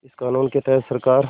इस क़ानून के तहत सरकार